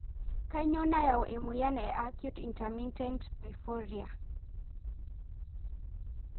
Kanyio nayau emoyian e acute intermittent porphyria (AIP)?